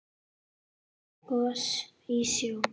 Gos í sjó